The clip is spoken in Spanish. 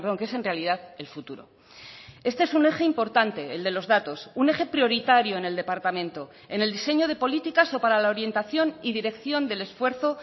que es en realidad el futuro este es un eje importante el de los datos un eje prioritario en el departamento en el diseño de políticas o para la orientación y dirección del esfuerzo